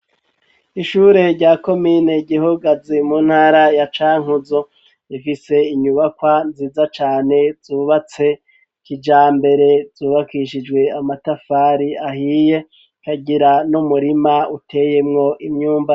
Ishure rya komine Gihogazi mu ntara ya Cankuzu rifise inyubakwa nziza cane zubatse kijambere zubakishijwe amatafari ahiye ikagira n'umurima uteyemwo imyumbati.